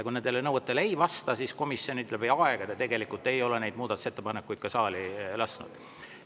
Kui need nõuetele ei vasta, siis komisjonid läbi aegade tegelikult ei ole neid muudatusettepanekuid saali lasknud.